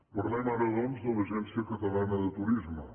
parlem ara doncs de l’agència catalana de turisme